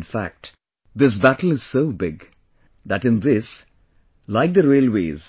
In fact, this battle is so big... that in this like the railways